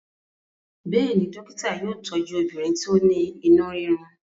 béèni dókítà yóò tọju obìnrin ti o ní inú rirun.